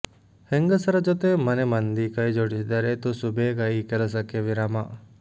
ಹೆಂಗಸರ ಜೊತೆ ಮನೆಮಂದಿ ಕೈಜೋಡಿಸಿದರೆ ತುಸು ಬೇಗ ಈ ಕೆಲಸಕ್ಕೆ ವಿರಾಮ